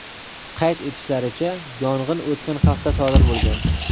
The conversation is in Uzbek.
Qayd etishlaricha, yong‘in o‘tgan hafta sodir bo‘lgan.